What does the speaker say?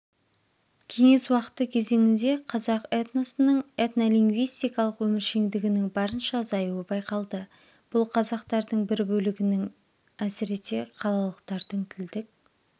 кеңес уақыты кезеңінде қазақ этносының этнолингвистикалық өміршеңдігінің барынша азаюы байқалды бұл қазақтардың бір бөлігінің әсіресе қалалықтардың тілдік